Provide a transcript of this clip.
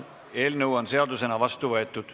Eelnõu on seadusena vastu võetud.